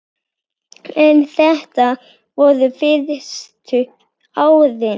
En þetta voru fyrstu árin.